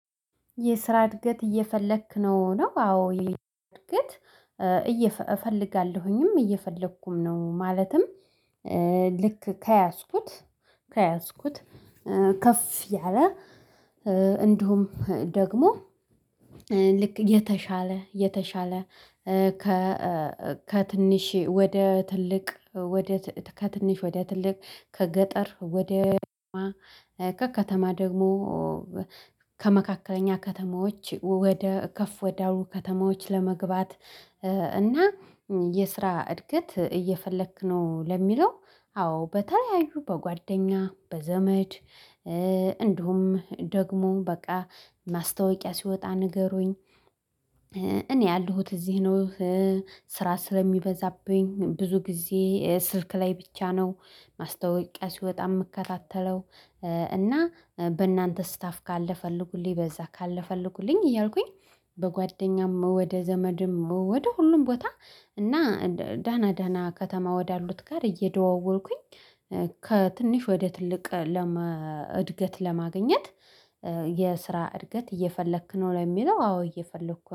የስራ እድገት እየፈለክ ነው ነው አዎ እድገት። እየ ፈለጋለሁኝም እየፈለኩም ነው ማለትም ልክ ከያዝኩት ከያዝኩት ከፍ ያለ እንዲሁም ደግሞ ልክ የተሻለ የተሻለ። ከትንሽ ወደ ትልቅ ወደ ከትንሽ ወደ ትልቅ ከገጠር ወደ ከከተማ ከከተማ ደግሞ ከመካከለኛ ከተማዎች ወደ ከፍ ወደ አሉ ከተማዎች ለመግባት። እና የስራ እድገት እየፈለክ ነው ለሚለው አዎ በተለያዩ በጓደኛ በዘመድ እንዲሁም ደግሞ በቃ ማስታወቂያ ሲወጣ ንገሩኝ። እኔ ያለሁት እዚህ ነው። ስራ ስለሚበዛብኝ ብዙ ጊዜ ስልክ ላይ ብቻ ነው ማስታወቂያ ሲወጣ የምከታተለው። እና በእናንተ ስታፍ ካለ ፈልጉልኝ በዛ ካለ ፈልጉልኝ እያልኩኝ በጓደኛም ወደ ዘመድም ወደ ሁሉም ቦታ እና ደህና ደህና ከተማ ወዳሉት ጋር እየደዋወልኩኝ ከትንሽ ወደ ትልቅ ለመ እድገት ለማግኘት። የስራ እድገት እየፈለክ ነው ለሚለው አዎ እየፈለኩ